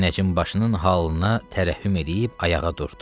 Münəccim başının halına tərəhhüm eləyib ayağa durdu.